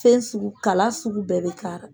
Fɛn sugu, kala sugu bɛɛ bɛ k'a la